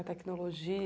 A tecnologia.